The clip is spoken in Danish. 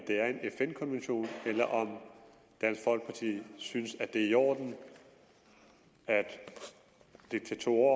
det er en fn konvention eller om dansk folkeparti synes at det er i orden at diktatorer